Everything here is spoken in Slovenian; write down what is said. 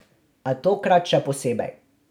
A tokrat še posebej.